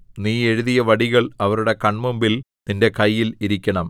നീ എഴുതിയ വടികൾ അവരുടെ കൺമുമ്പിൽ നിന്റെ കയ്യിൽ ഇരിക്കണം